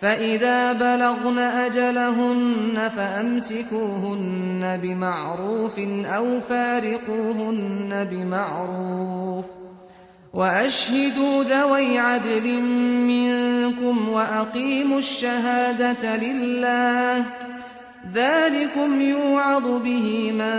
فَإِذَا بَلَغْنَ أَجَلَهُنَّ فَأَمْسِكُوهُنَّ بِمَعْرُوفٍ أَوْ فَارِقُوهُنَّ بِمَعْرُوفٍ وَأَشْهِدُوا ذَوَيْ عَدْلٍ مِّنكُمْ وَأَقِيمُوا الشَّهَادَةَ لِلَّهِ ۚ ذَٰلِكُمْ يُوعَظُ بِهِ مَن